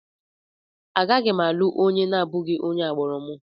Agaghị m alụ onye na-abụghị onye agbụrụ m.